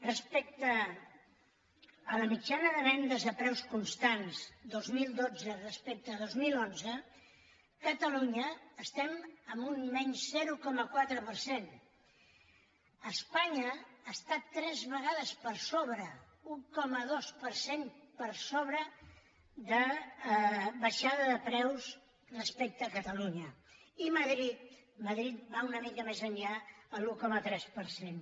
respecte a la mitjana de vendes a preus constants dos mil dotze respecte de dos mil onze a catalunya estem en un menys zero coma quatre per cent espanya està tres vegades per sobre un coma dos per cent per sobre de baixada de preus respecte a catalunya i madrid va una mica més enllà a l’un coma tres per cent